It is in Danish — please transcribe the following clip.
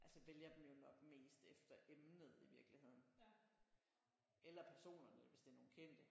Altså vælger dem jo nok mest efter emnet i virkeligheden eller personerne hvis det er nogen kendte